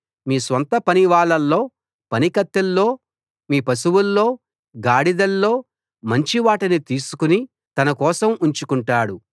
మీ స్వంత పనివాళ్ళలో పనికత్తెల్లో మీ పశువుల్లో గాడిదల్లో మంచివాటిని తీసుకు తన కోసం ఉంచుకొంటాడు